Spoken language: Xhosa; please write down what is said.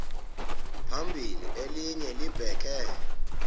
phambili elinye libheke